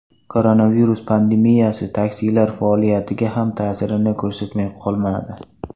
Koronavirus pandemiyasi taksilar faoliyatiga ham ta’sir ko‘rsatmay qolmadi.